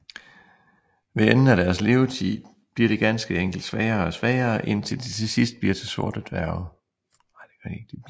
Ved enden af deres levetid bliver de ganske enkelt svagere og svagere indtil de til sidst bliver sorte dværge